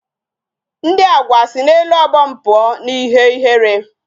Ndi Agwa si n'elu obom pụọ n'ihe ihere